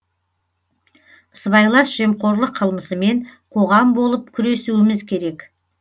сыбайлас жемқорлық қылмысымен қоғам болып күресуіміз керек